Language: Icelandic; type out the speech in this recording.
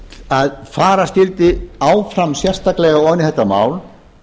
að fara skyldi áfram sérstaklega ofan í þetta mál